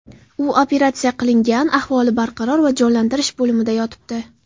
U operatsiya qilingan, ahvoli barqaror va jonlantirish bo‘limida yotibdi.